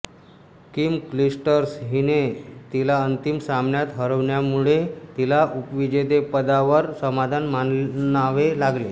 Kim Clijsters हिने तिला अंतिम सामन्यात हरवल्यामुळे तिला उपविजेतेपदावर समाधान मानावे लागले